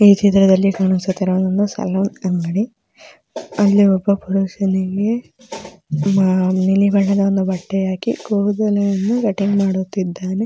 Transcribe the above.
ಈ ಚಿತ್ರದಲ್ಲಿ ಕಾಣಿಸುತ್ತಿರುವುದು ಒಂದು ಸಲೂನ್ ಅಂಗಡಿ. ಅಲ್ಲಿ ಒಬ್ಬ ಒಬ್ಬ ನೀಲಿ ಬಣ್ಣದ ಬಟ್ಟೆ ಹಾಕಿ ಕೂದಲನ್ನು ಕಟಿಂಗ್ ಮಾಡುತ್ತಿದ್ದಾನೆ.